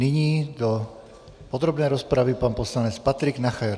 Nyní do podrobné rozpravy pan poslanec Patrik Nacher.